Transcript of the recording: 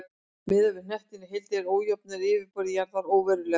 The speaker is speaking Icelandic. Miðað við hnöttinn í heild eru ójöfnur á yfirborði jarðar óverulegar.